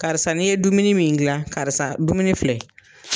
Karisa ni ye dumuni min gilan, karisa dumuni filɛ.